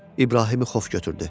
İbrahimi xof götürdü.